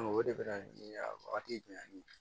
o de bɛ na ni a wagati jumɛn